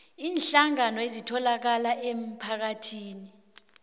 iinhlangano ezitholakala emphakathini